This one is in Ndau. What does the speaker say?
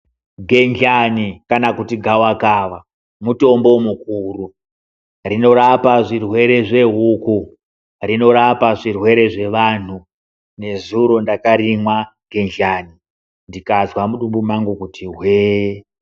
Gendlani kana kuti gavakava, mutombo mukuru. Rinorapa zvirwere zvehuku. Rinorapa zvirwere zvevantu. Nezuro ndakarimwa, gendlani ndikazwe mudumbu mangu kuti hwee.